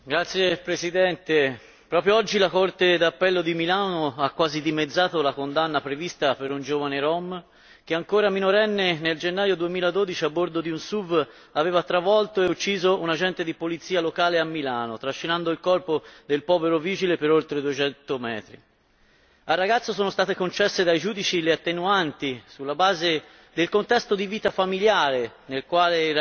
Signor Presidente, onorevoli colleghi, proprio oggi la Corte d'appello di Milano ha quasi dimezzato la condanna prevista per un giovane rom che, ancora minorenne, nel gennaio 2012 a bordo di un SUV aveva travolto e ucciso un agente di polizia locale a Milano, trascinando il corpo del povero vigile per oltre duecento metri. Al ragazzo sono state concesse dai giudici le attenuanti sulla base del contesto di vita familiare nel quale